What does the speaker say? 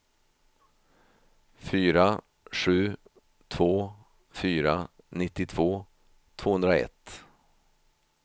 fyra sju två fyra nittiotvå tvåhundraett